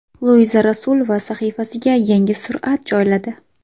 Luiza Rasulova sahifasiga yangi surat joyladi.